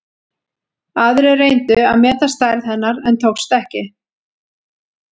Aðrir reyndu að meta stærð hennar en tókst ekki.